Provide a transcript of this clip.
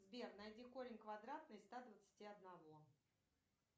сбер найди корень квадратный из ста двадцати одного